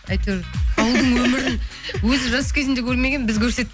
әйтеуір ауылдың өмірін өзі жас кезінде көрмеген біз көрсеттік